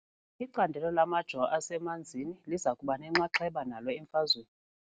Icandelo lamajo asemanzini liza kuba nenxaxheba nalo emfazweni.